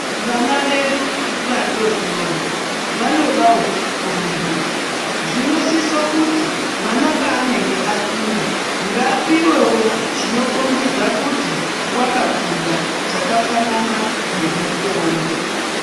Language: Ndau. Vana vedu vadodori, vanodawo kurumbidzwa. Zvinosise kuti mwana pa anenge akunda, ngapiwewo chinokombedza kuti wakakunda chakafanana nemukombe.